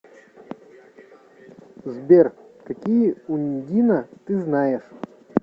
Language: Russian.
сбер какие ундина ты знаешь